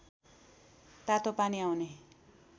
तातोपानी आउने